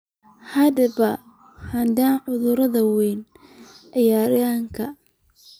Haddaba hadda carruurtu way ciyaarayaan?